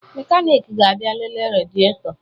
Mekaniiki ga-abịa lelee redietọ